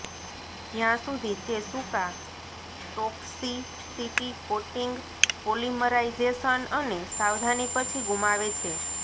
જ્યાં સુધી તે સૂકાં ટોક્સિસિટી કોટિંગ પોલિમરાઇઝેશન અને સાવધાની પછી ગુમાવે છે